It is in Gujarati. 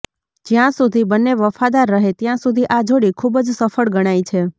જ્યાં સુધી બંને વફાદાર રહે ત્યાં સુધી આ જોડી ખૂબ જ સફળ ગણાય છે